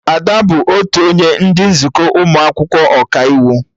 Ada bụ otu onye ndị nzukọ ụmụ akwụkwọ Ọkaiwu